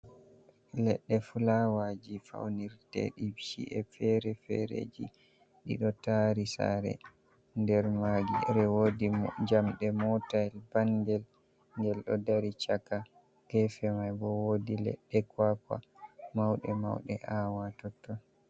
Leɗɗe fulawaaji faunirteɗi ci’e fere-fereji, ɗi ɗo tari saare. Nder maaji wodi jamɗe, motayel bangel ngel ɗo dari caka. Gefe mai bo wodi leɗɗe kwakwa mauɗe-mauɗe aawa totton.